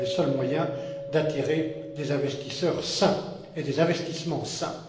Ce sont les seuls moyens d'attirer des investisseurs sains et des investissements sains.